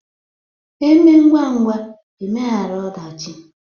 Emee ngwa ngwa emeghara ọdachi